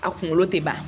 A kunkolo tɛ ban